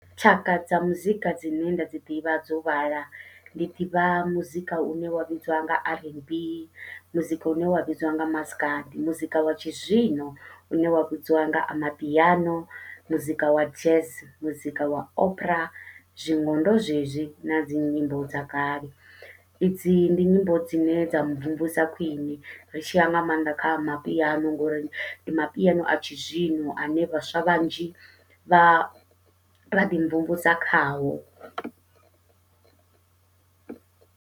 Tshaka dza muzika dzine nda dzi ḓivha dzo vhala, ndi ḓivha muzika une wa vhidzwa nga r n b, muzika une wa vhidzwa nga maskadi, muzika wa tshi zwino une wa vhudziwa nga amapiano, muzika wa jazz, muzika wa , zwingondo zwezwi nadzi nyimbo dza kale. Idzi ndi nyimbo dzine dza mvumvusa khwiṋe ri tshi ya nga maanḓa kha amapiano, ngori ndi mapiano a tshi zwino ane vhaswa vhanzhi vha ra ḓi mvumvusa khawo.